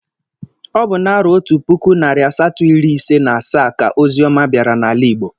Ọ bụ na-arọ Otu puku, narị asatọ irí ise na asaa ka ozi ọma bịara n'ala Igbo.